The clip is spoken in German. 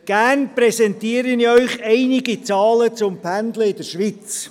Gerne präsentiere ich Ihnen einige Zahlen zum Pendeln in der Schweiz.